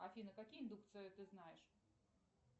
афина какие индукции ты знаешь